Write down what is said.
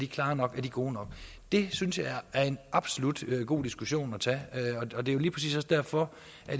klare nok og gode nok det synes jeg absolut er en god diskussion at tage og det er lige præcis også derfor